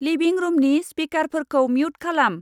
लिभिं रुमनि स्पिकारफोरखौ म्युट खालाम।